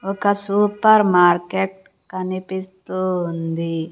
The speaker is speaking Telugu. ఒక సూపర్ మార్కెట్ కనిపిస్తూ ఉంది.